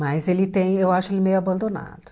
Mas ele tem eu acho ele meio abandonado.